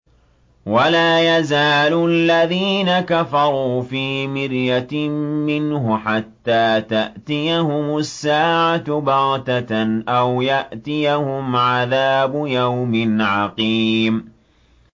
وَلَا يَزَالُ الَّذِينَ كَفَرُوا فِي مِرْيَةٍ مِّنْهُ حَتَّىٰ تَأْتِيَهُمُ السَّاعَةُ بَغْتَةً أَوْ يَأْتِيَهُمْ عَذَابُ يَوْمٍ عَقِيمٍ